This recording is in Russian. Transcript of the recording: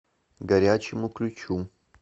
горячему ключу